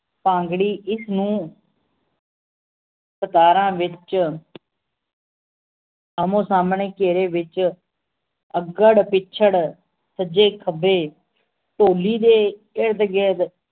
ਭਾਂਗਰੀ ਇਸ ਨੂੰ ਸਤਾਰਾਂ ਵਿਚ ਆਮੋ ਸਾਮਣੇ ਘੇਰੇ ਵਿਚ ਅੱਗੜ ਪਿੱਛੜ ਸੱਜੇ ਖੱਬੇ ਢੋਲੀ ਦੇ ਇਰਦ ਗਿਰਦ